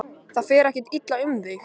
Það fer ekkert illa um þig?